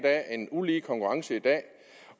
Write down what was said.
af en ulige konkurrence i dag